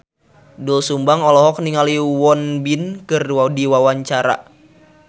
Doel Sumbang olohok ningali Won Bin keur diwawancara